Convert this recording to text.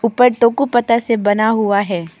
ऊपर पत्ता से बना हुआ है।